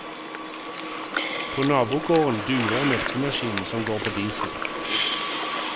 På nabogården durer melkemaskinen som går på diesel.